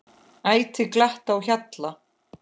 Ætíð glatt á hjalla.